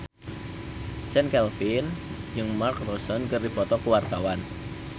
Chand Kelvin jeung Mark Ronson keur dipoto ku wartawan